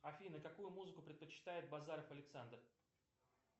афина какую музыку предпочитает базаров александр